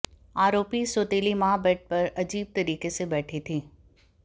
आरोपी सौतेली माँ बेड पर अजीब तरीके से बैठी थी